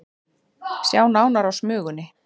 Sjá nánar á Smugunni